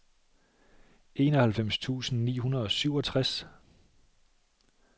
enoghalvfems tusind ni hundrede og syvogtres